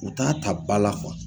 U t'a ta bala